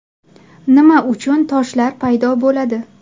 Nima uchun toshlar paydo bo‘ladi?